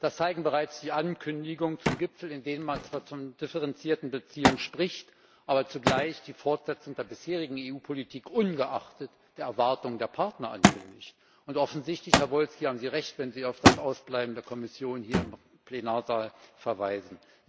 Das zeigen bereits die Ankündigungen zum Gipfel, in denen man zwar von differenzierten Beziehungen spricht, aber zugleich die Fortsetzung der bisherigen EU Politik, ungeachtet der Erwartungen der Partner, ankündigt. Offensichtlich haben Sie Recht, Herr Saryusz Wolski, wenn Sie auf das Ausbleiben der Kommission hier im Plenarsaal verweisen.